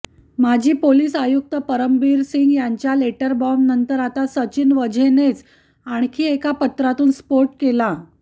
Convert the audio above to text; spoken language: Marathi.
माजी पोलीस आयुक्त परमबीरसिंग यांच्या लेटरबॉम्बनंतर आता सचिन वाझेनेच आणखी एका पत्रातून स्फोट केला